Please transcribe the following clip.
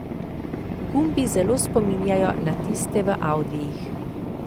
Gumbi zelo spominjajo na tiste v audijih.